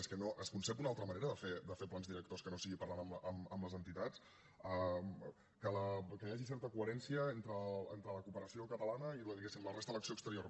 és que es concep una altra manera de fer plans directors que no sigui parlant amb les entitats que hi hagi certa coherència entre la cooperació catalana i diguéssim la resta de l’acció exterior